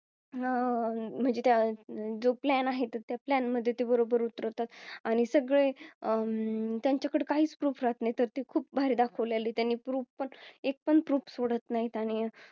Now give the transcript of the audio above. आह अं म्हणजे जो Plan आहेत. त्या Plan मध्ये बरोबर उतरवतात आणि सगळे अं त्यांच्याकडे काहीच Proof राहात नाही तर ते खूप भारी दाखवलेली त्यांनी Proof पण एक पण Proof सोडत नाहीत आणि अह